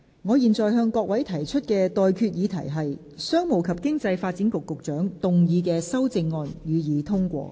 我現在向各位提出的待決議題是：商務及經濟發展局局長動議的修正案，予以通過。